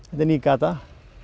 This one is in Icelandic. er ný gata